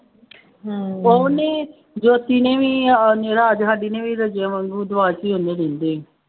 ਉਹ ਨਹੀਂ ਜੋਤੀ ਨੇ ਵੀ ਆ ਰਾਜ ਸਾਡੀ ਨੇ ਵੀ ਰੱਜਿਆਂ ਵਾਂਗੂੰ ਉਹਨੇ ਦਿੰਦੇ